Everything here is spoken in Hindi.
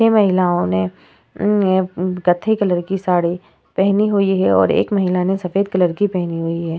ये महिलाओं ने अ ने ये कथई कलर की साड़ी पहनी हुई हैं और एक महिला ने सफेद कलर की पहनी हुई है।